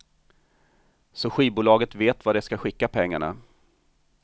Så skivbolaget vet vart det ska skicka pengarna.